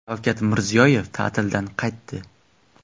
Shavkat Mirziyoyev ta’tildan qaytdi.